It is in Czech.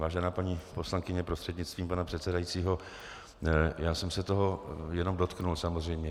Vážená paní poslankyně prostřednictvím pana předsedajícího, já jsem se toho jenom dotkl samozřejmě.